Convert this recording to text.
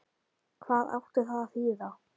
Hvað átti það að þýða?